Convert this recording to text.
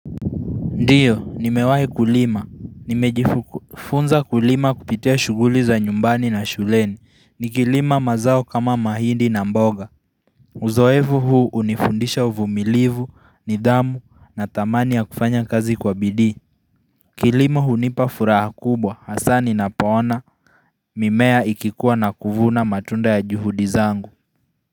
Ndiyo, nimewahi kulima. Nimejifunza kulima kupitia shughuli za nyumbani na shuleni. Nikilima mazao kama mahindi na mboga. Uzoevu huu hunifundisha uvumilivu, nidhamu na thamani ya kufanya kazi kwa bidii. Kilimo hunipa furaha kubwa. Hasaa ninapoona mimea ikikuwa na kuvuna matunda ya juhudi zangu.